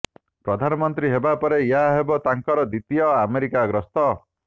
ପ୍ରଧାନମନ୍ତ୍ରୀ ହେବା ପରେ ଏହା ହେବ ତାଙ୍କର ଦ୍ୱିତୀୟ ଆମେରିକା ଗସ୍ତ